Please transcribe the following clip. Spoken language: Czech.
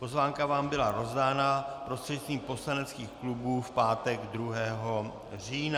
Pozvánka vám byla rozdána prostřednictvím poslaneckých klubů v pátek 2. října.